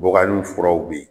Bubagani furaw bɛ yen